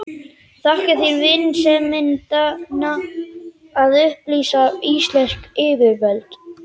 Þakka þér vinsemdina að upplýsa íslensk yfirvöld.